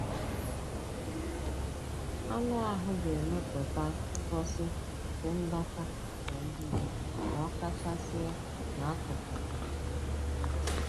Anụ ahụ ga-emepụta ngosi nke ndọ̀ta na mbibi ma ọ kachasị n'akụkụ ahụ ọ metụtara